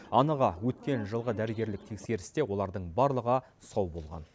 анығы өткен жылғы дәрігерлік тексерісте олардың барлығы сау болған